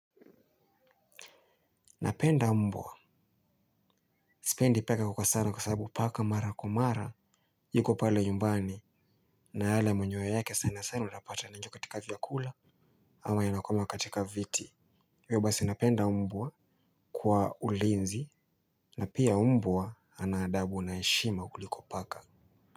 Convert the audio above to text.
Napenda mbwa. Sipendi paka kwa sana kwa sababu paka mara kwa mara. Yuko pale nyumbani. Na yale manyonya yake sana sana utapata licho katika vyakula. Ama yanakwama katika viti Webasi napenda mbwa. Kwa ulinzi na pia mbwa ana adabu na heshima kuliko paka.